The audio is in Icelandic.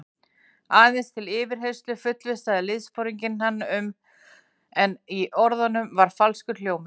Aðeins til yfirheyrslu fullvissaði liðsforinginn hann um, en í orðunum var falskur hljómur.